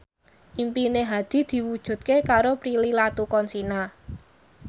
impine Hadi diwujudke karo Prilly Latuconsina